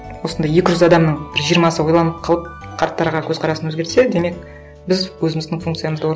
осындай екі жүз адамның бір жиырмасы ойланып қалып қарттарға көзқарасын өзгертсе демек біз өзіміздің функциямызды